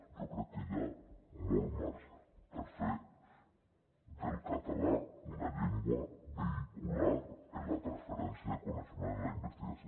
jo crec que hi ha molt marge per fer del català una llengua vehicular en la transferència de coneixement en la investigació